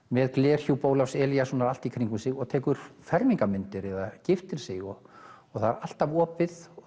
með glerhjúp Ólafs Elíassonar allt í kringum sig og tekur fermingarmyndir eða giftir sig og og það er alltaf opið og